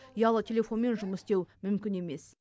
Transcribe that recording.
ұялы телефонмен жұмыс істеу мүмкін емес